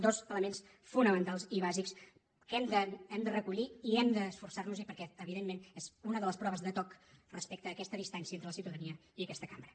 dos elements fonamentals i bàsics que hem de recollir i hem d’esforçar nos perquè evidentment és una de les proves de toc respecte a aquesta distància entre la ciutadania i aquesta cambra